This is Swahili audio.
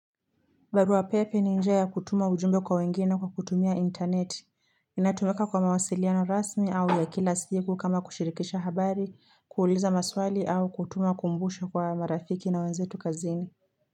Barua pepe ni njia ya kutuma ujumbe kwa wengine kwa kutumia intaneti. Inatumika kwa mawasiliano rasmi au ya kila siku kama kushirikisha habari, kuuliza maswali au kutuma kumbusho kwa marafiki na wenzetu kazini.